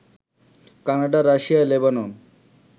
Canada, Russia, Lebanon